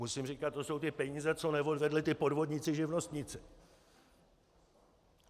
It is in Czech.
Musím říkat: To jsou ty peníze, co neodvedli ti podvodníci živnostníci.